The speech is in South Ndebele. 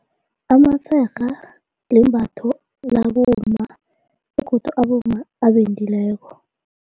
Amatshega limbatho labomma begodu abomma abendileko.